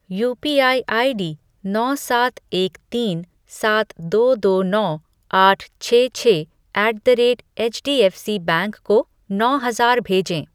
UPI ID नौ सात एक तीन सात दो दो नौ आठ छः छः ऐट द रेट एचडीएफ़सीबैंक को नौ हज़ार भेजें ।